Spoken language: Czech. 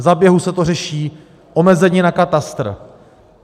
Za běhu se to řeší, omezení na katastr.